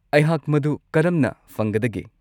ꯑꯩꯍꯥꯛ ꯃꯗꯨ ꯀꯔꯝꯅ ꯐꯪꯒꯗꯒꯦ?